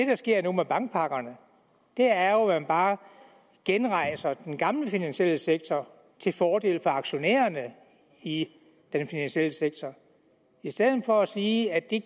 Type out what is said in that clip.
der sker nu med bankpakkerne er jo at man bare genrejser den gamle finansielle sektor til fordel for aktionærerne i den finansielle sektor i stedet for at sige at det